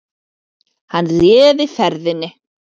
Hann réði ferðinni